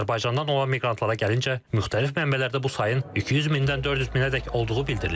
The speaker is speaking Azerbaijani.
Azərbaycandan olan miqrantlara gəlincə, müxtəlif mənbələrdə bu sayın 200 mindən 400 minədək olduğu bildirilir.